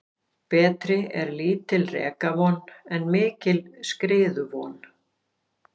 Betri er lítil rekavon en mikil skriðuvon.